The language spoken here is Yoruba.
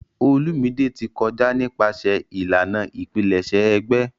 Olumide ti kọja nipasẹ ilana ipilẹṣẹ egbe.